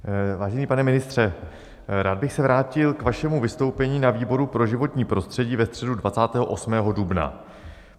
Vážený pane ministře, rád bych se vrátil k vašemu vystoupení na výboru pro životní prostředí ve středu 28. dubna.